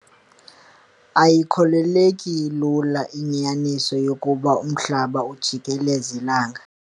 Ayikholeleki lula inyaniso yokuba umhlaba ujieleza ilanga.